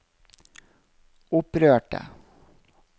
opprørte